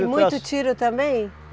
E muito tiro também?